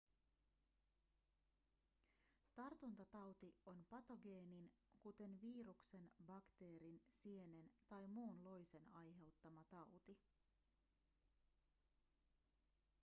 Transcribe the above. tartuntatauti on patogeenin kuten viruksen bakteerin sienen tai muun loisen aiheuttama tauti